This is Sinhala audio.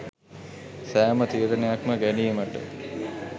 සෑම තීරණයක්ම ගැනීමට